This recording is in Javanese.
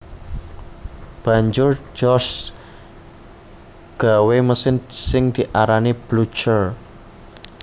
Banjur George gawé mesin sing diarani Blucher